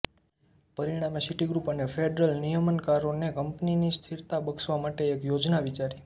પરિણામે સિટીગ્રુપ અને ફેડરલ નિયમનકારોએ કંપનીને સ્થિરતા બક્ષવા માટે એક યોજના વિચારી